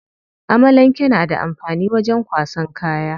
Amalanke na da amfani wajen kwasan kaya.